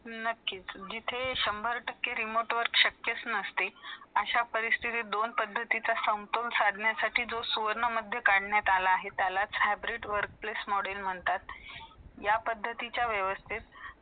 नक्की , जिथे शंभर टक्के remote वर शक्य नसते . अशा परिस्थितीत दोन पद्धतीच्या संपोण साधण्या साठी not clear जे करण्यात आला आहे त्याला hybrid work place module म्हणतात या पद्धतीच्या वेवस्थित